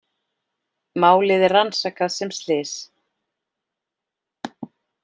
Málið er rannsakað sem slys